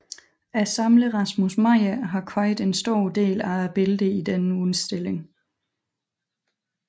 Samleren Rasmus Meyer har købt en stor del af billederne i denne udstilling